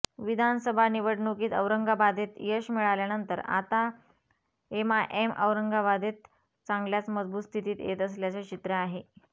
विधानसभा निवडणुकीत औरंगाबादेत यश मिळाल्यानंतर आता एमआयएम औरंगाबादेत चांगल्याच मजबूत स्थितीत येत असल्याचं चित्र आहे